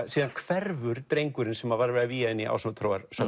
síðan hverfur drengurinn sem var verið að vígja inn í